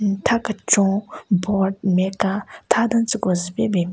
Hm tha kechon board nme ka tha den tsüko zu pe ben bin.